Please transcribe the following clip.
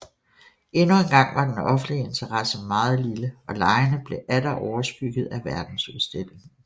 Endnu en gang var den offentlige interesse meget lille og legene blev atter overskygget af verdensudstillingen